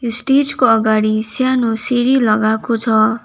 यो स्टेज को अगाडि सानो सिरी लागाको छ।